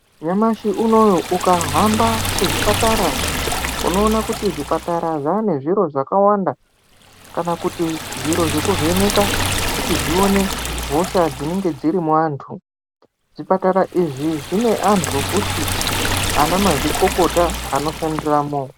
Nyamashi unowu ukahambe kuzvipatara unoona kuti zvipatara zvene zviro zvakawanda kana kuti zviro zvekuvheneka kuti zvione hosha dzinonga dziri mu waantu . Zvipatara izvi zvine antu fti anamazvikokota anoshandiramwo.